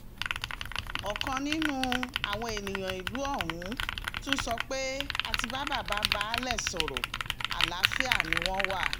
ọ̀kan nínú àwọn ènìyàn ìlú ọ̀hún tún sọ pé a ti bá bàbá baálé sọ̀rọ̀ àlàáfíà ni wọ́n wà